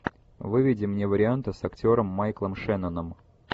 выведи мне варианты с актером майклом шенноном